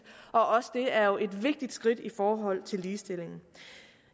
og også det er jo et vigtigt skridt i forhold til ligestillingen